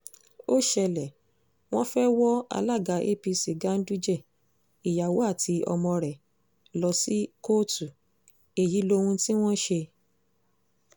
ó ṣẹlẹ̀ wọ́n fẹ́ẹ́ wọ alága apc ganduje ìyàwó àti ọmọ rẹ̀ lọ sí kóòtù èyí lóhun tí wọ́n ṣe